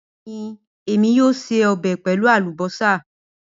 Bẹẹni, Emi yoo ṣe ọbẹ pẹlu alubosa